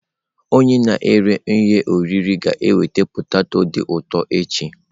Onye na-ere ihe oriri ga-eweta poteto dị ụtọ echi.